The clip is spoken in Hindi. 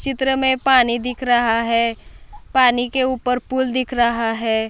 चित्र मे पानी दिख रहा है पानी के ऊपर पूल दिख रहा है।